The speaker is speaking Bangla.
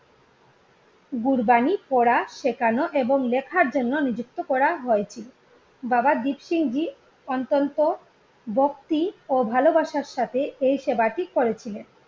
গুরবানী পড়া সেখানো এবং লেখার জন্য নিযুক্ত করা হয়েছিল, বাবা দীপসিং জি অত্যন্ত ভক্তি ও ভালোবাসার সাথে এই সেবাটি করেছিলেন।